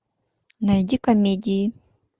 найди комедии